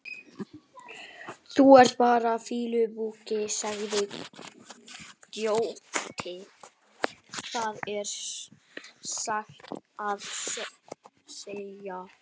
Þú ert bara fýlupoki, sagði Grjóni að skilnaði þegar hann og